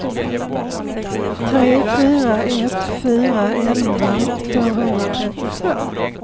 tre fyra ett fyra elva tvåhundratrettiotvå